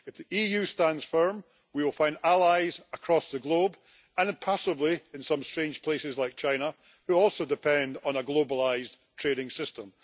If the EU stands firm, we will find allies across the globe and possibly in some strange places like China, which also depends on a globalised trading system.